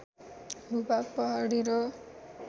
भूभाग पहाडी र